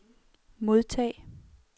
modtag